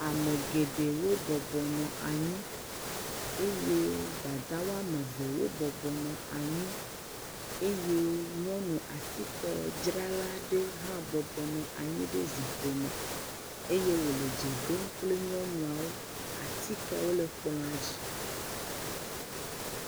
Ame geɖewo bɔbɔnɔ anyi eye dada woame eve wo bɔbɔnɔ anyi eye nyɔnu atike dzrala aɖe hã nɔ anyi ɖe zikpui me, eye wòle dze ɖom kple nyɔnuawo, atikewo le kplɔa dzi.